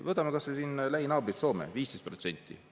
Võtame kas või lähinaaber Soome: 15%.